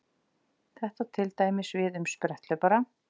Þetta á til dæmis við um spretthlaupara.